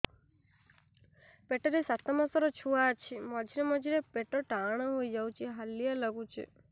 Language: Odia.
ପେଟ ରେ ସାତମାସର ଛୁଆ ଅଛି ମଝିରେ ମଝିରେ ପେଟ ଟାଣ ହେଇଯାଉଚି ହାଲିଆ ଲାଗୁଚି